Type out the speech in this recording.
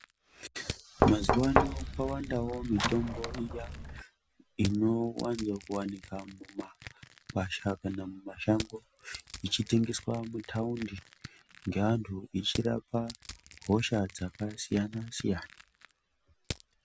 Mazuwaano kwawandawo mitombo iya inowanzokuwanika mumagwasha kana mumashango, ichitengeswa mumathaundi ngeanhu ichirapa, hosha dzakasiyana-siyana.